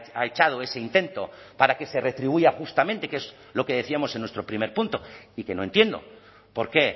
ha echado ese intento para que se retribuya justamente que es lo que decíamos en nuestro primer punto y que no entiendo por qué